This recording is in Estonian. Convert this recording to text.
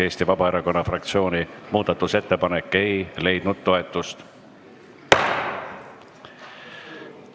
Eesti Vabaerakonna fraktsiooni muudatusettepanek ei leidnud toetust.